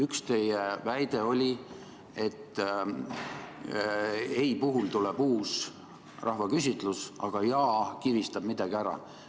Üks teie väide oli, et ei puhul tuleb uus rahvaküsitlus, aga jah kivistab midagi ära.